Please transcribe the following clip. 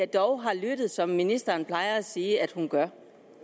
dog har lyttet som ministeren plejer at sige at hun gør